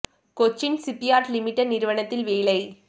Cochin shipyard limited நிறுவனத்தில் வேலை